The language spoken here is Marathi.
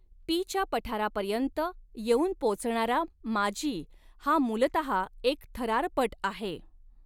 पीच्या पठारांपर्यंत येऊन पोचणारा माज़ी हा मूलतः एक थरारपट आहे.